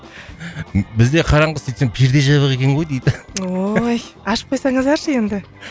бізде қараңғы сөйтсем перде жабық екен ғой дейді ой ашып қойсаңыздаршы енді